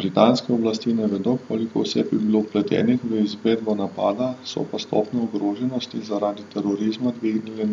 Britanske oblasti ne vedo, koliko oseb je bilo vpletenih v izvedbo napada, so pa stopnjo ogroženosti zaradi terorizma dvignile